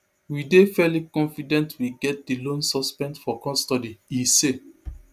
we dey fairly confident we get di lone suspect for custody e say